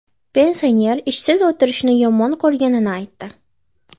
Pensioner ishsiz o‘tirishni yomon ko‘rganini aytdi.